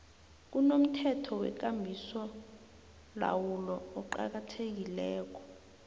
kunomthetho wekambisolawulo oqakathekileko